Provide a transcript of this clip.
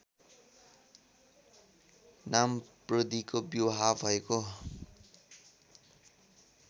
नामपुद्रिको विवाह भएको